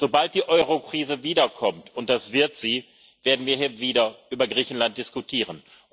Sobald die Eurokrise wiederkommt und das wird sie werden wir hier wieder über Griechenland diskutieren.